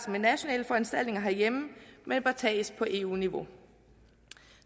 med nationale foranstaltninger herhjemme men bør tages på eu niveau